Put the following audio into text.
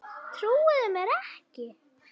Trúið þið mér ekki?